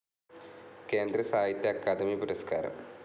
കേന്ദ്ര സാഹിത്യ അക്കാദമി പുരസ്കാരം